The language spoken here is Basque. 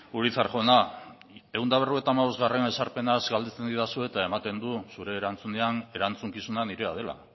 urizar jauna ehun eta berrogeita hamabostgarrena ezarpenaz galdetzen didazu eta ematen du zure erantzunean erantzukizuna nirea dela